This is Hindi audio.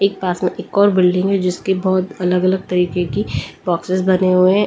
एक और बिल्डिंग है जिसके बहुत अलग-अलग तरीके की बोक्सीस बने हुए हैं।